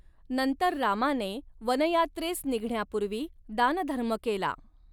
नंतर रामाने वनयात्रेस निघण्यापूर्वी दानधर्म केला.